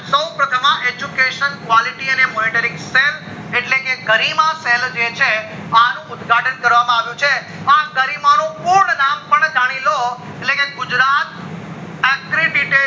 સૌ પ્રથમ વાર education quality અને monitoring cell એટલે ગરિમા cell જે છે અનુ ઉદ્ઘાટન કરવા માં આવ્યું છે અને ગરિમા નું પૂર્ણ નામ પણ જાની લ્યો એટલે કે ગુજરાત agridetail